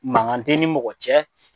Mankan tɛ n ni mɔgɔ cɛ